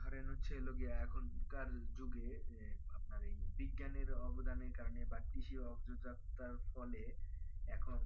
ধরেন হচ্ছে হলো গিয়া এখন কার যুগে আপনার বিজ্ঞানের অবদানের কারণে বা কৃষি অগ্রদত্তার ফলে এখন